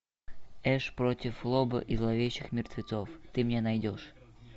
эш против лобо и зловещих мертвецов ты мне найдешь